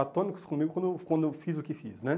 atônicos comigo quando quando eu fiz o que fiz, né?